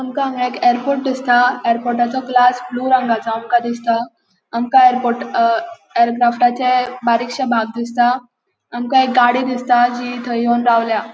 आमका हांगा एक एयरपोर्ट दिसता एयरपोर्टचो ग्लास ब्लू रंगासो आमका दिसता आमका एयरपोर्ट ऐरक्राफ्टचे बारिक्षे बाग दिसता आमका एक गाड़ी दिसता जी थंय येवन रावल्या.